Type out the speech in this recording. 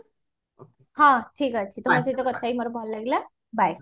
ହଁ ଠିକ ଅଛି ତମ ସହିତ କଥା ହେଇ ମତେ ଭଲ ଲାଗିଲା bye